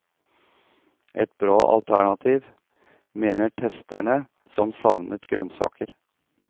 Et bra alternativ, mener testerne som savnet grønnsaker.